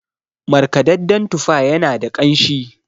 markadadden tufa yana da kanshin